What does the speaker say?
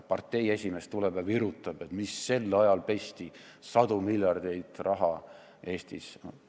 Partei esimees tuleb ja virutab: mis asja, sel ajal pesti sadu miljardeid raha Eestis!